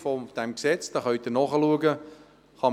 Sie können diese im vorliegenden Gesetz nachsehen.